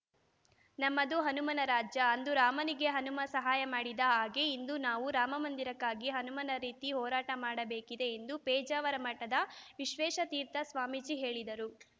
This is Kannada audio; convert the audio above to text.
ನಮ್ಮದು ಹನುಮನ ರಾಜ್ಯ ಅಂದು ರಾಮನಿಗೆ ಹನುಮ ಸಹಾಯ ಮಾಡಿದ ಹಾಗೇ ಇಂದು ನಾವು ರಾಮ ಮಂದಿರಕ್ಕಾಗಿ ಹನುಮನ ರೀತಿ ಹೋರಾಟ ಮಾಡಬೇಕಿದೆ ಎಂದು ಪೇಜಾವರ ಮಠದ ವಿಶ್ವೇಶತೀರ್ಥ ಸ್ವಾಮೀಜಿ ಹೇಳಿದರು